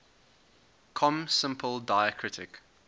com simple diacritic